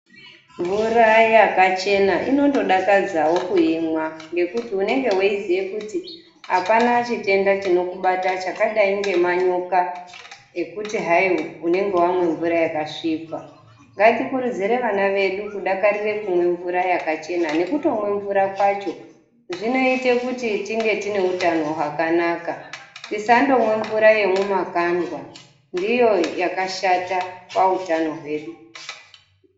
Mvura yakachena inondodakadzawo kuimwa ngekuti unenge weiziye kuti hapana chitenda chinokubata chakadai ngenyoka ekuti hai unenge wamwe mvura yakasvipa, ngatikurudzire vana vedu kudakarire kumwe mvura yakachena nekutomwe mvura kwacho zvinoite kuti tinge tine utano hwakanaka. Tisandomwe mvura yemumakandwa ndiyo yakashata pautano hwedu.